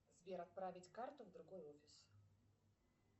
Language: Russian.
сбер отправить карту в другой офис